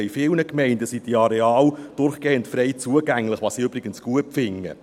In vielen Gemeinden sind diese Areale durchgehend frei zugänglich, was ich übrigens gut finde.